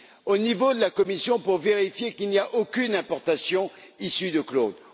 au niveau de la Commission pour vérifier qu'il n'y a aucune importation issue de clones?